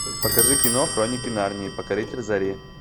покажи кино хроники нарнии покоритель зари